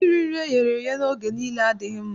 Iri nri eghere eghe oge niile adịghị mma.